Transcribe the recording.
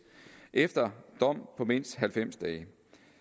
efter dom på mindst halvfems dage